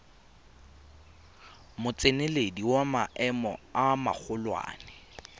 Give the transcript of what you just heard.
motseneledi wa maemo a magolwane